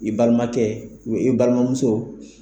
I balimakɛ i balimamuso